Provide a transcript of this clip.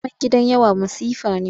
Zaman gidan yawa masifa ne.